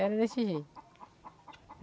Era desse jeito.